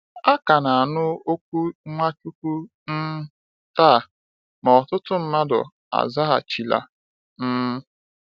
A ka na-anụ oku Nwachukwu um taa, ma ọtụtụ mmadụ azaghachila um.